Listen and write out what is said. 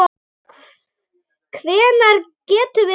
Hvenær getum við farið?